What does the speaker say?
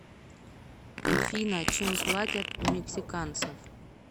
афина чем платят у мексиканцев